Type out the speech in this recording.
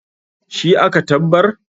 shi aka tabbar?